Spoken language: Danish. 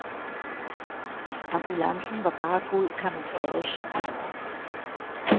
Ambulancen var bare god camouflage.